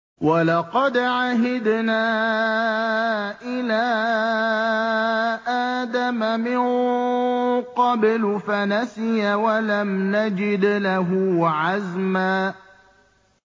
وَلَقَدْ عَهِدْنَا إِلَىٰ آدَمَ مِن قَبْلُ فَنَسِيَ وَلَمْ نَجِدْ لَهُ عَزْمًا